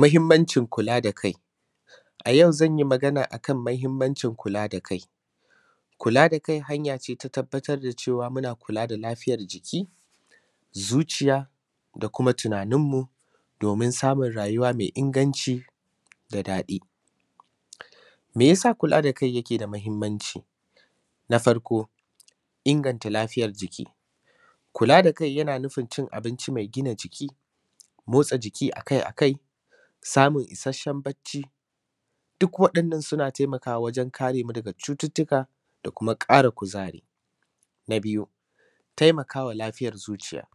muhimmancin kula da kai a yau zan yi magana a kan muhimmancin kula da kai kula da kai hanya ce ta tabbatar da cewa muna kula da lafiyar jiki zuciya da kuma tunanin mu domin samun rayuwa mai inganci da daɗi me yasa kula da kai yake da muhimmanci na farko inganta lafiyar jiki kula da kai yana nufin cin abinci mai gina jiki motsa jiki akai akai samun ishashshen bacci duk waɗannan suna taimaka wa wajen kare mu daga wasu cututtuka da kuma ƙara kuzari na biyu taimakawa lafiyar zuciya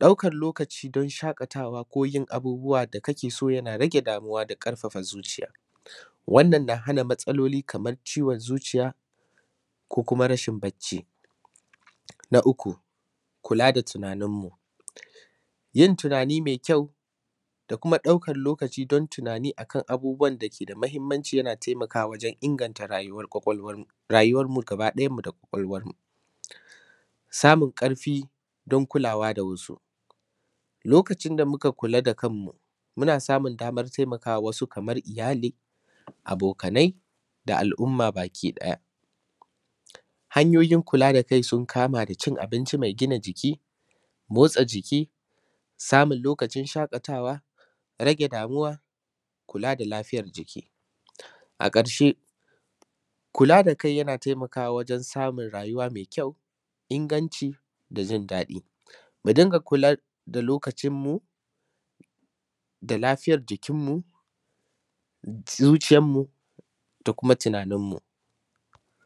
ɗaukar lokaci don shaƙatawa ko yin abubbuwan da kake so yana rage damuwa da ƙarfafa zuciya wannan na hana matsaloli kaman ciwon zuciya ko kuma rashin bacci na uku kula da tunanin mu yin tunani mai kyau da kuma ɗaukar lokacin don tunani akan abubbuwa da ke da muhimmanci yana taimakawa wajen inganta rayuwan mu da ƙwaƙwalwan mu samun ƙarfi don kulawa da wasu lokacin da muka kula da kanmu muna samun damar taimaka wa wasu kaman iyali abokanai da al’umma gabaki daya hanyoyin kula da kai sun kama cin abinci mai gina jiki motsa jiki samun lokacin shaƙatawa rage damuwa kula da lafiyar jiki a ƙarshe kula da kai yana taimaka wa wajen samun rayuwa mai kyau inganci da jinda; ɗi mu dinga kula da lokacin mu da lafiyar jikinmu zuciyanmu da kuma tuna:nin mu